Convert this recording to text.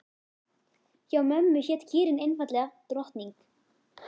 Hjá mömmu hét kýrin einfaldlega Drottning.